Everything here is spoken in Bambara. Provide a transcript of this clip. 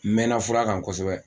N mɛɛnna fura kan kosɛbɛ